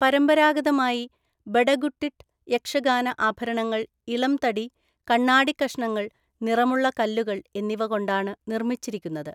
പരമ്പരാഗതമായി, ബഡഗുട്ടിട്ട് യക്ഷഗാന ആഭരണങ്ങൾ ഇളം തടി, കണ്ണാടി കഷണങ്ങൾ, നിറമുള്ള കല്ലുകൾ എന്നിവ കൊണ്ടാണ് നിർമ്മിച്ചിരിക്കുന്നത്.